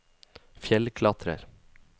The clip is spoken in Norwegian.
fjellklatrer